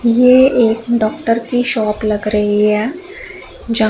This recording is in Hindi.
ये एक डॉक्टर की शॉप लग रही है जहां--